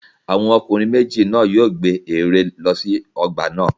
Àwọn ọkùnrin méjì náà yóò gbé ère lọ sí ọgbà náà.